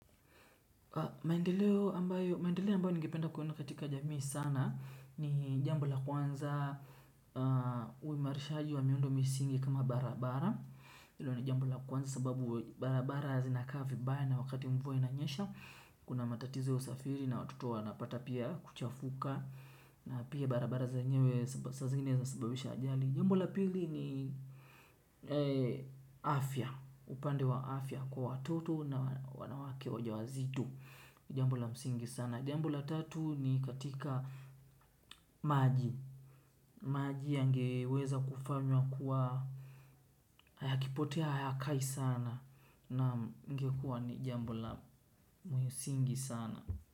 Maendeleo ambayo ningependa kuona katika jamii sana ni jambo la kwanza uimarishaji wa miundo misingi kama barabara hilo ni jambo la kwanza sababu barabara zinakaa vibaya wakati mvua inanyesha. Kuna matatizo usafiri na watoto wanapata pia kuchafuka na pia barabara zenyewe saa zingine zisababisha ajali. Jamboa pili ni afya, upande wa afya kwa watoto na wanawake wajawazito. Jambo la msingi sana. Jambo la tatu ni katika maji, maji yangeweza kufanywa kuwa yakipotea hayakai sana. Naam, ingekuwa ni jambo la msingi sana.